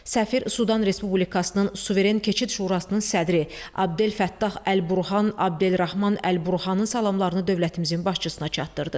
Səfir Sudan Respublikasının Suveren Keçid Şurasının sədri Abdel Fəttah Əl-Burhan, Abdelrahman Əl-Burhanın salamlarını dövlətimizin başçısına çatdırdı.